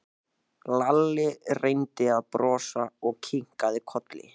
Lalli reyndi að brosa og kinkaði kolli.